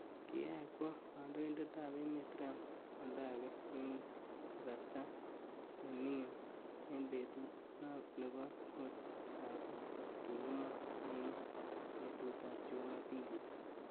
Kiyach kwoo kandoindet ap emet Trump oldagee ing kasarta nemining eng petut nopo mut kasi , kikimwaa ing petut apjuma pili.